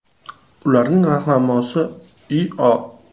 Ularning rahnamosi I.O.